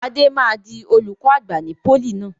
Adé máa di olùkọ́ àgbà ní pólì náà.